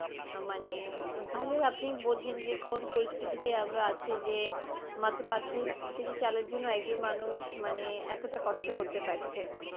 মানে তাহলেও আপনি বোঝেন যে কোন পরিস্থিতিতে আমরা আছি যে, মাত্র পাঁচ ছয় কেজি চালের জন্য একজন মানুষ মানে এতটা কষ্ট করতে পারছে.